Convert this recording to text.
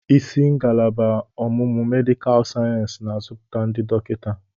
Isi ngalaba ọmụmụ medịkal sayensị na-azụpụta ndị dọkịta.